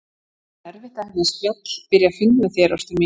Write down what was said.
Þá er erfitt að hefja spjall, byrja fund með þér, ástin mín.